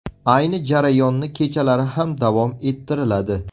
Ayni jarayonni kechalari ham davom ettiriladi.